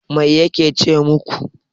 Mai yake ce maku?